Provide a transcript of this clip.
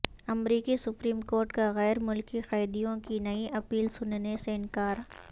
امریکی supreme court کا غیر ملکی قیدیوں کی نئی اپیل سننے سے انکار